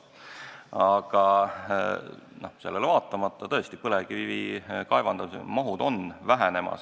Aga sellele vaatamata, tõesti, põlevkivi kaevandamise mahud on vähenemas.